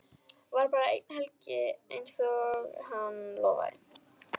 Var bara eina helgi einsog hann lofaði.